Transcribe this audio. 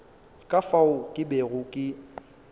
ka fao ke bego ke